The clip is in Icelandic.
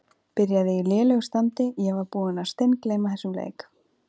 Byrjaði í lélegu standi Ég var búinn að steingleyma þessum leik.